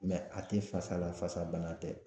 a tɛ fasa la fasala bana tɛ.